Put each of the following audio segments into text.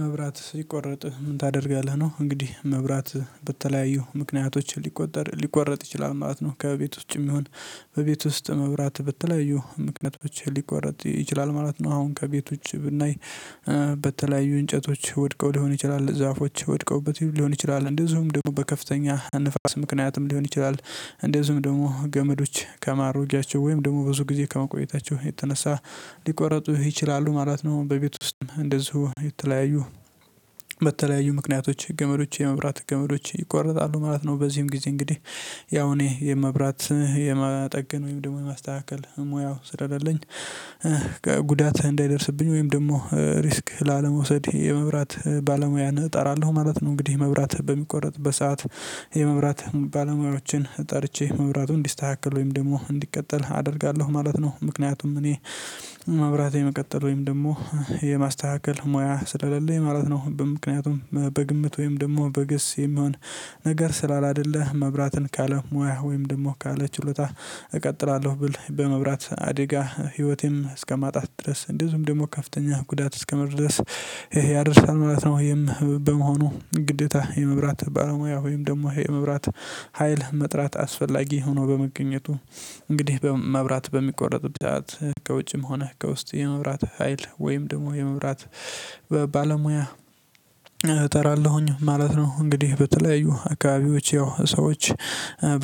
መብራት ሲቆረጥ ምን ታደርጋለህ ነው? እንግዲህ መብራት በተለያዩ ምክንያቶች ሊቆጠር ሊቆረጥ ይችላል ማለት ነው። ከቤት ውጭም ይሁን በቤት ውስጥ መብራት በተለያዩ ምክንያቶች ሊቋረጥ ይችላል ማለት ነው። አሁን ከቤቶች ውጭ ብናይ በተለያዩ እንጨቶች ወድቀው ሊሆን ይችላል ዛፎች ወድቀውበት ሊሆን ይችላል እንደዚሁም ደግሞ በከፍተኛ ንፋስ ምክንያትም ሊሆን ይችላል እንደዚሁም ደግሞ ገመዶች ከማረጃቸው ወይም ደግሞ ብዙ ጊዜ ከማቆየታቸው የተነሳ ሊቆረጡ ይችላሉ ማለት ነው። በቤት ውስጥም እንደዚሁ የተለያዩ በተለያዩ ምክንያቶች ገመዶች የመብራት ገመዶች ይቆረጣሉ ማለት ነው። በዚህም ጊዜ እንግዲህ ያው እኔ የመብራት የመጠገን ወይም ደግሞ የማስተካከል ሙያው ስለሌለ ጉዳት እንዳይደርስብኝ ወይም ደግሞ ሪስክ ላለመውሰድ የመብራት ባለሙያን እጠራለሁ ማለት ነው። እንግዲህ መብራት በሚቆረጥ በሰአት የመብራት ባለሙያዎችን ጠርቼ መብራቱን እንዲስተካከል ወይም ደግሞ እንዲቀጥል አደርጋለሁ ማለት ነው። ምክንያቱም እኔ መብራት የመቀጠል ወይም ደግሞ የማስተካከል ሙያ ስለሌለኝ ማለት ነው። በምክንያቱም በግምት ወይም ደግሞ በገስ የሚሆን ነገር ስላላደለ መብራትን ካለ ሙያ ወይም ደግሞ ካለ ችሎታ እቀጥላለሁ ብል በመብራት አዲጋ ህይወቴም እስከማጣት ድረስ እንደዚሁም ደግሞ ከፍተኛ ጉዳት እስከመድረስ ይሄ ያደርሳል ማለት ነው። ወይም በመሆኑ ግዴታ የመብራት ባለሙያ ወይም ደግሞ የመብራት ሀይል መጥራት አስፈላጊ ሆኖ በመገኘቱ እንግዲህ በመብራት በሚቆረጥበት ሰዓት ከውጭም ሆነ ከውስጥ የመብራት ሀይል ወይም ደግሞ የመብራት ባለሙያ እጠራለሁኝ ማለት ነው። እንግዲህ በተለያዩ አካባቢዎች ያው ሰዎች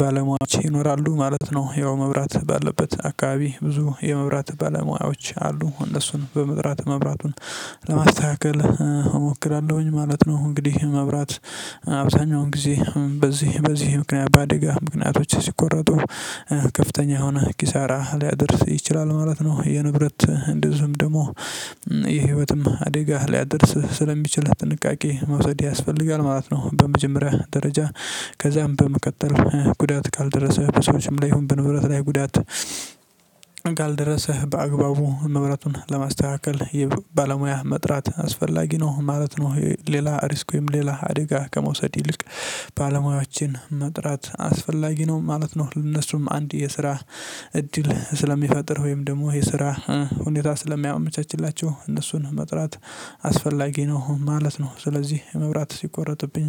ባለሙያዎች ይኖራሉ ማለት ነው ያው መብራት ባለበት አካባቢ ብዙ የመብራት ባለሙያዎች አሉ እነሱን በመጥራት መብራቱን ለማስተካከል ማለት ነው። እንግዲህ መብራት አብዛኛውን ጊዜ በዚህ በዚህ ምክንያት በአደጋ ምክንያቶች ሲቆረጡ ከፍተኛ የሆነ ኪሳራ ሊያደርስ ይችላል ማለት ነው። የንብረት እንደዚሁም ደግሞ የህይወትም አደጋ ሊያደርስ ስለሚችል ጥንቃቄ መውሰድ ያስፈልጋል ማለት ነው። በመጀመሪያ ደረጃ ከዛም በመቀጠል ጉዳት ካልደረሰ በሰዎችም ላይ ይሁን በንብረት ላይ ጉዳት ካልደረሰህ በአግባቡ መብራቱን ለማስተካከል ባለሙያ መጥራት አስፈላጊ ነው ማለት ነው። ሌላ ሪስክም ወይም ሌላ አደጋ ከመውሰድ ይልቅ ባለሙያዎችን መጥራት አስፈላጊ ነው ማለት ነው። እነሱም አንድ የስራ እድል ስለሚፈጥር ወይም ደግሞ የስራ ሁኔታ ስለሚያመቻችላቸው እነሱን መጥራት አስፈላጊ ነው ማለት ነው። ስለዚህ የመብራት ሲቆረጥብኝ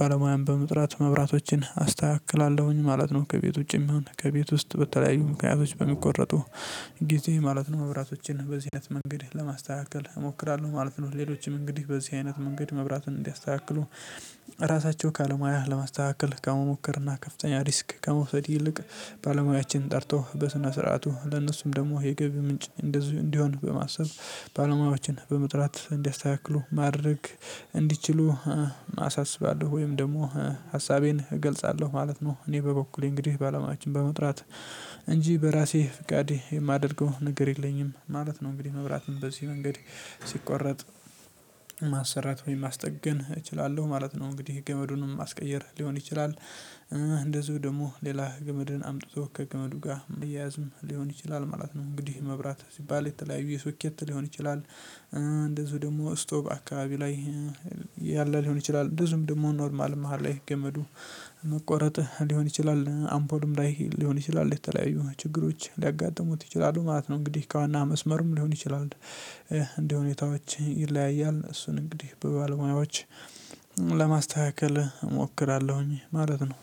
ባለሙያም በመጥራት መብራቶችን አስተካክላለሁኝ ማለት ነው። ከቤት ውጪ የሚሆን ከቤት ውስጥ በተለያዩ ምክንያቶች በሚቆረጡ ጊዜ ማለት ነው መብራቶችን በዚህ አይነት መንገድ ለማስተካከል እሞክራለሁ ማለት ነው። ሌሎችም እንግዲህ በዚህ አይነት መንገድ መብራትን እንዲያስተካክሉ ራሳቸው ካለሙያ ለማስተካከል ከመሞከርና ከፍተኛ ሪስክ ከመውሰድ ይልቅ ባለሙያችን ጠርቶ በስነ ስርዓቱ ለእነሱም ደግሞ የገቢ ምንጭ እንደዚህ እንዲሆን በማሰብ ባለሙያዎችን በመጥራት እንዲያስተካክሉ ማድረግ እንዲችሉ አሳስባለሁ ወይም ደግሞ ሀሳቤን እገልጻለሁ ማለት ነው። እኔ በበኩሌ እንግዲህ ባለሙያዎችን በመጥራት እንጂ በራሴ ፍቃዴ የማደርገው ነገር የለኝም ማለት ነው። እንግዲህ መብራትም በዚህ መንገድ ሲቆረጥ ማሰራት ወይም ማስጠገን እችላለሁ ማለት ነው። እንግዲህ ገመዱንም ማስቀየር ሊሆን ይችላል እንደዚሁ ደግሞ ሌላ ገመድን አምጥቶ ከገመዱ ጋር ማያያዝም ሊሆን ይችላል ማለት ነው። እንግዲህ መብራት ሲባል የተለያዩ የሶኬት ሊሆን ይችላል እንደዚሁ ደግሞ ስቶቨ አካባቢ ላይ ያለ ሊሆን ይችላል ብዙም ደግሞ ኖርማል መሃል ላይ ገመዱ መቆረጥ ሊሆን ይችላል አምፖልም ላይ ሊሆን ይችላል የተለያዩ ችግሮች ሊያጋጥሙት ይችላሉ ማለት ነው። እንግዲህ ከዋና መስመርም ሊሆን ይችላል እንደ ሁኔታዎች ይለያያል እሱን እንግዲህ በባለሙያዎች ለማስተካከል እሞክራለሁኝ ማለት ነው